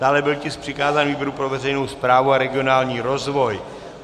Dále byl tisk přikázán výboru pro veřejnou správu a regionální rozvoj.